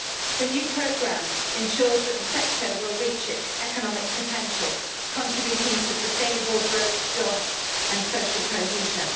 The new programme ensures that the sector will reach its economic potential contributing to sustainable growth, jobs and social cohesion.